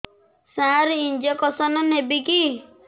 ସାର injection ନେବିକି